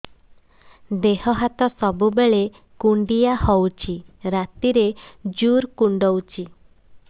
ଦେହ ହାତ ସବୁବେଳେ କୁଣ୍ଡିଆ ହଉଚି ରାତିରେ ଜୁର୍ କୁଣ୍ଡଉଚି